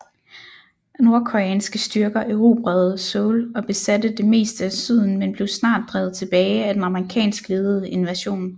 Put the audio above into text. Nordkoreanske styrker erobrede Seoul og besatte det meste af syden men blev snart drevet tilbage af den amerikansk ledede invasion